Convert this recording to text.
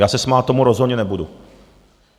Já se smát tomu rozhodně nebudu!